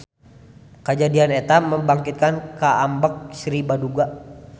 Kajadian eta membangkitkan kaambek Sri Baduga.